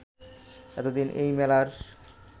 এতদিন এই মেলার